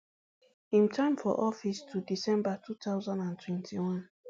im time for office to december two thousand and twenty-one